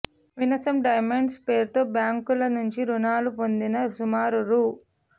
winsome Diamonds పేరుతో బ్యాంకుల నుంచి రుణాలు పొందిన సుమారు రూ